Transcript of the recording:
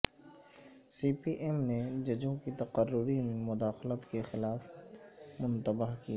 سی P M نے ججوں کی تقرری میں مداخلت کے خلاف متنبہ کیا